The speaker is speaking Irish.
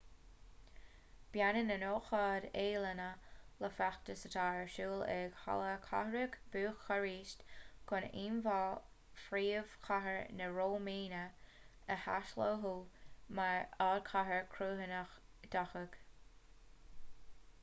baineann an ócáid ​​ealaíne le feachtas atá ar siúl ag halla cathrach bhúcairist chun íomhá phríomhchathair na rómáine a athsheoladh mar ardchathair chruthaitheach dhathach